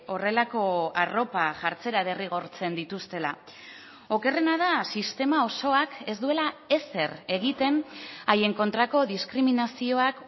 horrelako arropa jartzera derrigortzen dituztela okerrena da sistema osoak ez duela ezer egiten haien kontrako diskriminazioak